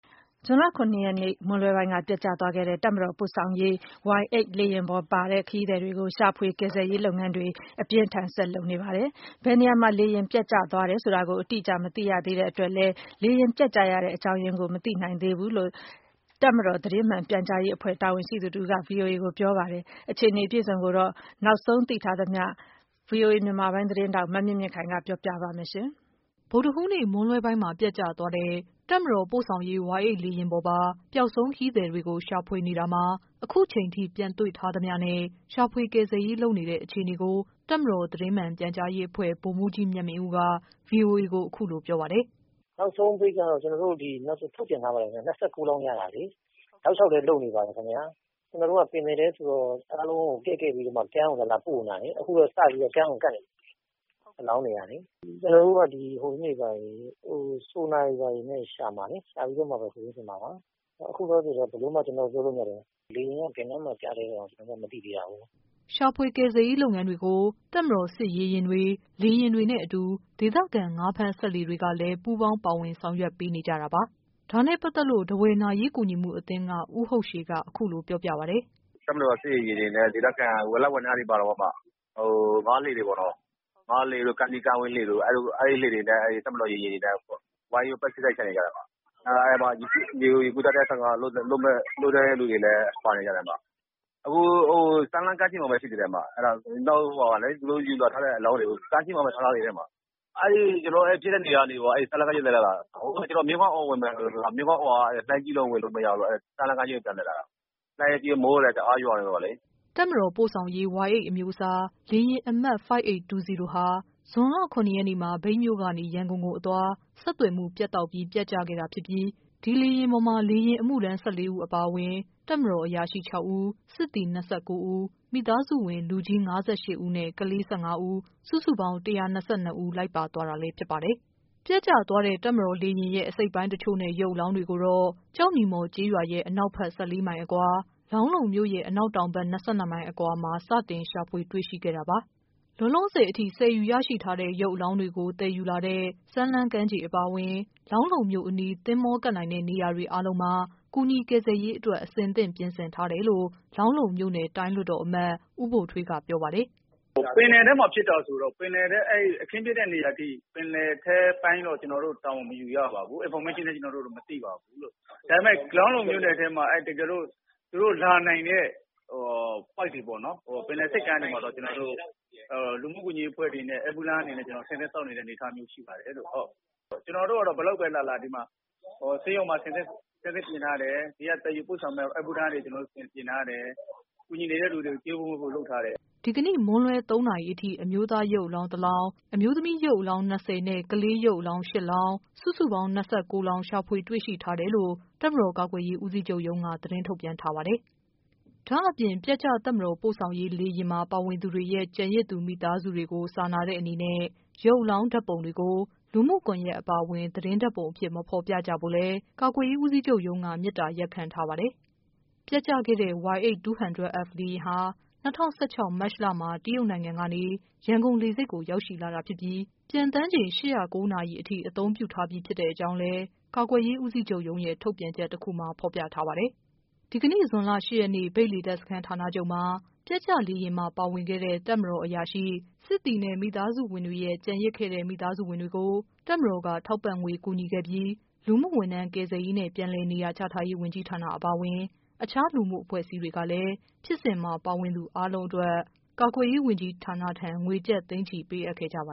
ဇွန်လ ၇ရက်နေ့ မွန်းလွဲပိုင်းက ပျက်ကျသွားတဲ့ တပ်မတော် ပို့ဆောင်ရေး Y-8 လေယာဉ်ပေါ်ပါ ခရီး သည်တွေကို ရှာဖွေ ကယ်ဆယ်ရေးလုပ်ငန်းတွေ အပြင်းအထန် ဆက်လုပ်နေပါတယ်။ ဘယ်နေရာမှာ လေယာဉ်ပျက်ကျ သွားတယ်ဆိုတာကို အတိအကျ မသိရသေးတဲ့အတွက်လဲ လေယာဉ်ပျက်ကျရတဲ့ အကြောင်းရင်းကို မသိနိုင်သေးဘူးလို့ တပ်မတော်သတင်းမှန် ပြန်ကြားရေးအဖွဲ့ တာဝန်ရှိသူတဦးက ဗွီအိုအေကိုပြောပါတယ်။ အခြေအနေအပြည့်အစုံ နောက်ဆုံး သိထားသမျှကို ဗွီအိုအေ မြန်မာပိုင်း သ တင်းထောက် မမြင့်မြင့်ခိုင်က တင်ပြပေးပါမယ်။ ဗုဒ္ဓဟူးနေ့ မွန်းလွဲပိုင်းမှာ ပျက်ကျသွားတဲ့ တပ်မတော်ပို့ဆောင်ရေး Y-8 လေယာဉ်ပေါ်ပါပျောက်ဆုံး ခရီးသည်တွေကို ရှာဖွေနေတာမှာ အခုချိန်ထိ ပြန်တွေ့ထားသမျှနဲ့ ရှာဖွေကယ်ဆယ်ရေး လုပ်နေတဲ့ အခြေအနေကို တပ်မတော်သတင်းမှန် ပြန်ကြားရေးအဖွဲ့က ဗိုလ်မှူးကြီး မြတ်မင်းဦးက ဗွီအိုအေကို အခု လိုပြောပါတယ်။ “နောက်ဆုံးသတင်းကတော့ ကျနော်တို့ထုတ်ပြန်ထားပါတယ်ခင်ဗျ ၂၉ လောင်းရတယ် တောက်လျောက်လည်းလုပ်နေပါတယ်။ ကျနော်တို့က ပင်လယ်ထဲဆိုတော့ အားလုံးကို ဆယ်ပြီးမှ ကမ်းကိုလာလာပို့နေတာလေ။ အခုလည်း စပြီးတော့ ကမ်းကို ကပ်နေပြီအလောင်းတွေကလေ။ ကျနော်တို့က ဆိုနာတွေဘာတွေနဲ့လည်းရှာမှာလေ။ ရှာပြီးတော့မှပဲ စာရင်းစစ်မှာပါ အခုလောလောဆယ်ကတော့ ဘယ်လိုမှ မပြောလို့မရသေးဘူး ။ လေယာဉ်က ဘယ်နားမှာပျောက်သလဲဆိုတာ မသိသေးတာကို။” ရှာဖွေကယ်ဆယ်ရေးလုပ်ငန်းကို တပ်မတော် စစ်ရေယာဉ်တွေ၊ လေယာဉ်တွေနဲ့အတူ ဒေသခံငါးဖမ်း စက်လှေတွေကလဲ ပူးပေါင်း ပါဝင်လုပ်ဆောင်ပေးနေကြတာပါ။ဒါနဲ့ပတ်သက်လို့တော့ ထားဝယ် နာရေး ကူညီမှုအသင်းက ဦးဟုတ်ရှည်က အခုလိုပြောပြပါတယ်။ “တပ်မတော်က စစ်ရေယာဉ်တွေနဲ့ ဒေသခံ ငါးလှေတွေပေါ့နော် အဲဒါတွေနဲ့ ဝိုင်းပြီးတော့ ပတ်ရှာနေကြတယ် အဲဒီထဲမှာ ရေကူးတတ်တဲ့ တံငါသည်တွေလည်း ပါတယ်။ အခုကတော့ သူတို့ယူလာထားတဲ့အလောင်းတွေကို ကမ်းခြေမှာပဲထားတယ်။ အဲဒီကျနော်တို့ဖြစ်တဲ့နေရာကနေ လာတာ၊ မြစ်ဝကတော့ လှိုင်းကြီးဝင်လို့ စမ်းလှမ်းကမ်းခြေကို ပြန်လှည့်လာတာ။ လှိုင်းကလည်းကြီး မိုးကလည်း တအားရွာနေတယ်ဆိုတော့လေ။” တပ်မတော် ပို့ဆောင်ရေး Y-8 အမျိုးအစား လေယာဉ်အမှတ် ၅၈၂၀ ဟာ ဇွန်လ ၇ရက်နေ့မှာ မြိတ်မြို့ ကနေ ရန်ကုန်ကို အသွား ဆက်သွယ်မှု ပြတ်တောက်ပြီး ပျက်ကျခဲ့တာဖြစ်ပြီး ဒီလေယာဉ်ပေါ်မှာ လေ ယာဉ်အမှုထမ်း ၁၄ဦးအပြင် တပ်မတော် အရာရှိ ၆ဦး၊ စစ်သည် ၂၉ ဦး၊ မိသားစုဝင် လူကြီး ၅၈ဦးနဲ့ က လေး ၁၅ဦး စုစုပေါင်း ၁၂၂ဦး လိုက်ပါသွားတာလဲ ဖြစ်ပါတယ်။ ပျက်ကျ တပ်မတော်လေယာဉ်ရဲ့ အစိတ်အပိုင်းတချို့နဲ့ ရုပ်အလောင်းတွေကိုတော့ ကျောက်နီမော် ကျေး ရွာရဲ့ အနောက်ဘက် ၁၄မိုင်အကွာ၊ လောင်းလုံမြို့ရဲ့ အနောက်တောင်ဘက် ၂၂မိုင်အကွာမှာ စတင် ရှာ ဖွေ တွေ့ရှိခဲ့တာပါ။ လောလောဆယ်အထိ ဆယ်ယူရရှိတဲ့ ရုပ်အလောင်းတွေကို သယ်ယူလာတဲ့ စမ်းလှမ်းကမ်းခြေအပါအဝင် လောင်းလုံမြို့အနီး သင်္ဘောကပ်နိုင်တဲ့ နေရာတွေ အားလုံးမှာ ကူညီ ကယ်ဆယ်ရေးအတွက် အဆင့်သင့် ပြင်ဆင်ထားတယ်လို့ လောင်းလုံမြို့နယ် တိုင်းလွှတ်တော်အမတ် ဦးဗိုလ်ထွေးက ပြောပါတယ်။ “ပင်လယ်ထဲမှာဖြစ်တာဆိုတော့ အခင်းဖြစ်တဲ့နေရာအထိ ပင်လယ်ထဲအပိုင်းတော့ ကျနော်တို့ တာဝန်မယူရပါဘူး Information လည်း ကျနော်တို့မသိပါဘူး။ ဒါပေမယ့် လောင်းလုံမြို့နယ်မှာတော့ သူတို့လာနိုင်တဲ့ ပင်လယ်ဆိပ်ကမ်းတွေမှာပေါ့နော် ကျနော်တို့ လူမှုဝန်ကြီးအဖွ့ဲတွေနဲ့ အမူထမ်းတွေအနေနဲ့ အဆင်သင့်စောင့်နေတဲ့အနေအထားရှိပါတယ်။ ကျနော်တို့ကတော့ ဘယ်လောက်ပဲလာလာ ဒီမှာ ဆေးရုံမှာအဆင်သင့်ပြင်ထားတယ်။ ဒီက သယ်ယူပို့ဆောင်ဖို့ဝန်ထမ်းတွေ အဆင်သင့်ပြင်ထားတယ်။ အကူအညီနေတဲ့သူတွေကို ကျွေးမွေးဖို့လုပ်ထားတယ်။” ဒီကနေ့ မွန်းလွဲ ၃နာရီခွဲအထိ အမျိုးသားရုပ်အလောင်း ၂ လောင်း၊ အမျိုးသမီး ရုပ်အလောင်း ၂၁ လောင်း နဲ့ ကလေး ရုပ်အလောင်း ၈လောင်း စုစုပေါင်း ၃၁ လောင်း ရှာဖွေတွေ့ရှိထားတယ်လို့ တပ်မတော် ကာ ကွယ်ရေး ဦးစီးချုပ်ရုံးက သတင်းထုတ်ပြန်ထားပါတယ်။ ဒါ့အပြင် ပျက်ကျ တပ်မတော် ပို့ဆောင်ရေး လေယာဉ်မှာ ပါဝင်သူတွေရဲ့ ကျန်ရစ်သူမိသားစုတွေကို စာနာတဲ့အနေနဲ့ ရုပ်အလောင်း ဓာတ်ပုံတွေကို လူမှုကွန်ယက်အပါအဝင် သတင်းဓာတ်ပုံအဖြစ် မဖော်ပြကြဖို့လဲ ကာကွယ်ရေးဦးစီးချုပ်ရုံးက မေတ္တာရပ်ခံ ထားပါတယ်။ ပျက်ကျခဲ့တဲ့ Y-8, 200 F လေယာဉ်ဟာ ၂၀၁၆ မတ်လမှာ တရုတ်နိုင်ငံကနေ ရန်ကုန်လေဆိပ်ကို ရောက်လာခဲ့တာဖြစ်ပြီး ပျံသန်းချိန် ၈၀၉ နာရီထိ အသုံးပြုထားပြီးဖြစ်တဲ့ အကြောင်းလဲ ကာကွယ်ရေး ဦးစီးချုပ်ရုံးရဲ့ ထုတ်ပြန်ချက်တခုမှာ ဖော်ပြထားပါတယ်။ ဒီကနေ့ ဇွန်လ ၈ရက်နေ့ မြိတ်လေတပ်စခန်း ဌာနချုပ်မှာ ပျက်ကျလေယာဉ်မှာ ပါဝင်ခဲ့တဲ့ တပ်မတော် အရာရှိ၊ စစ်သည်နဲ့ မိသားစုဝင်တွေရဲ့ ကျန်ရစ်ခဲ့တဲ့ မိသားစုဝင်တွေကို တပ်မတော်က ထောက်ပံ့ငွေ ကူညီခဲ့ပြီး လူမှုဝန်ထမ်း ကယ်ဆယ်ရေးနဲ့ ပြန်လည်နေရာချထားရေး ဝန်ကြီးဌာနအပါအဝင် အခြား လူမှု အဖွဲ့အစည်းတွေကလဲ ဖြစ်စဉ်မှာ ပါဝင်သူအားလုံးအတွက် ကာကွယ်ရေးဝန်ကြီးဌာနထံ ငွေကျပ် သိန်း ချီ ပေးအပ်ခဲ့ကြပ